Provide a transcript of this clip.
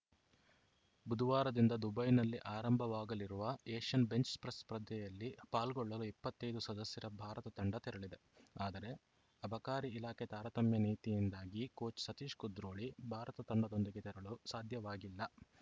ಬುಧವಾರದಿಂದ ದುಬೈನಲ್ಲಿ ಆರಂಭವಾಗಲಿರುವ ಏಷ್ಯನ್‌ ಬೆಂಚ್‌ ಪ್ರೆಸ್‌ ಸ್ಪರ್ಧೆಯಲ್ಲಿ ಪಾಲ್ಗೊಳ್ಳಲು ಇಪ್ಪತ್ತೈದು ಸದಸ್ಯರ ಭಾರತ ತಂಡ ತೆರಳಿದೆ ಆದರೆ ಅಬಕಾರಿ ಇಲಾಖೆ ತಾರತಮ್ಯ ನೀತಿಯಿಂದಾಗಿ ಕೋಚ್‌ ಸತೀಶ್‌ ಕುದ್ರೋಳಿ ತಂಡದೊಂದಿಗೆ ತೆರಳು ಸಾಧ್ಯವಾಗಿಲ್ಲ